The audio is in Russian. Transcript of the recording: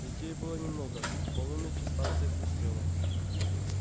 людей было немного к полуночи станция пустела